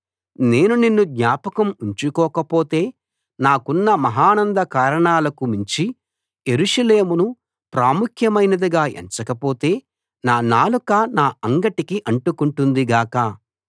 నేను నిన్ను జ్ఞాపకం ఉంచుకోకపోతే నాకున్న మహానంద కారణాలకు మించి యెరూషలేమును ప్రాముఖ్యమైనదిగా ఎంచకపోతే నా నాలుక నా అంగిటికి అంటుకుంటుంది గాక